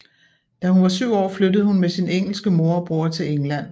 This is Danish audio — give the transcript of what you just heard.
Da hun var syv år flyttede hun med sin engelske mor og bror til England